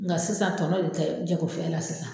Nka sisan tɔnɔ de tɛ jagofɛn la sisan.